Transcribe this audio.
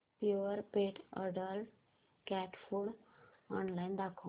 Purepet adult cat food online दाखव